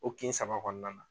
O kin saba kɔnɔna na.